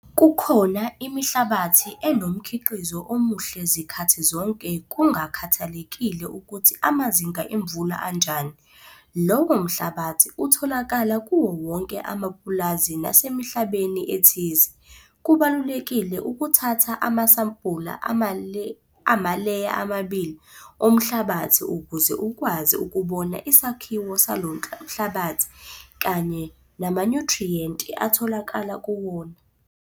Kukhona imihlabathi enomkhiqizo omuhle zikhathi zonke kungakhathalekile ukuthi amazinga emvula anjani. Lowo mhlabathi utholakala kuwo wonke amapulazi nasemihlabeni ethize. Kubalulekile ukuthatha amasampula amaleya amabili omhlabathi ukuze ukwazi ukubona isakhiwo salo mhlabathi kanye namanyuthriyenti atholakala kuwona.